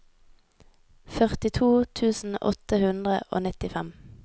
førtito tusen åtte hundre og nittifem